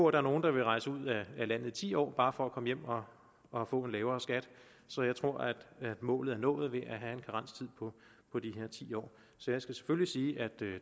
er nogen der vil rejse ud af landet i ti år bare for at komme hjem og og få en lavere skat så jeg tror at målet er nået ved at have en karenstid på de her ti år så jeg skal selvfølgelig sige at